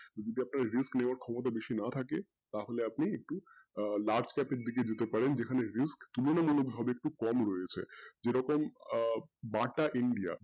যত risk নেওয়ার ক্ষমতা বেশি না থাকে তাহলে আপনি একটু আহ large দিকে দিতে পারেন যেখানে একটু তুলনামুলকভাবে একটু কম রয়েছে যেমন আহ বাটা India